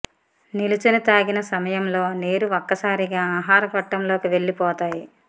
నిల్చుని తాగిన సమయంలో నీరు ఒక్కసారిగా ఆహార గొట్టంలోకి వెళ్లి పోతాయి